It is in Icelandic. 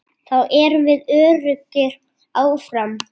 Þá erum við öruggir áfram.